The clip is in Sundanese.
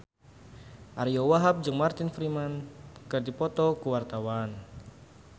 Ariyo Wahab jeung Martin Freeman keur dipoto ku wartawan